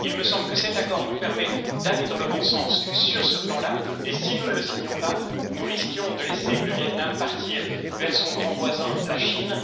Il me semble que cet accord nous permet d'aller dans le bon sens sur ce plan là, et si nous ne l'avions pas signé, nous aurions risqué de laisser le Viêt Nam partir vers son grand voisin, la Chine.